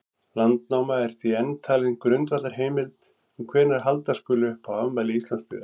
Landnáma er því enn talin grundvallarheimild um hvenær halda skuli upp á afmæli Íslandsbyggðar.